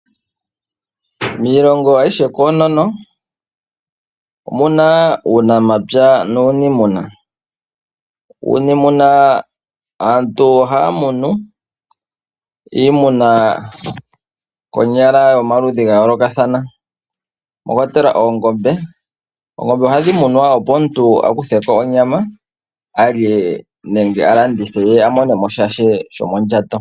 Miilongo ayihe koonono omu na uunamapya nuuniimuna. Uuniimuna aantu ohaya munu iimuna konyala yomaludhi ga yoolokathana mwa kwatelwa oongombe. Oongombe ohadhi munwa, opo omuntu a kuthe ko onyama a lye nenge a landithe ye a mone mo sha shomondjato.